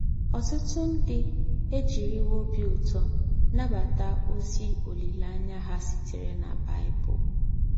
Ọ̀tútù ndí́ èjíríwò óbí ụ́tọ́ nàbátà ózí òlíléáṇyá hà sítèrè nà Bible